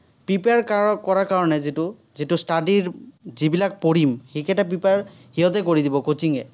prepare কৰাৰ কাৰণে যিটো, যিটো study ৰ, যিবিলাক পঢ়িম সেইকেইটা prepare সিহঁতে কৰি দিব, coaching এ।